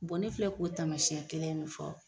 ne filɛ k'o taamasiɲɛ kelen de fɔ